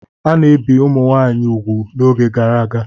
A na-ebi ụmụ nwaanyị ugwu n'oge gara aga.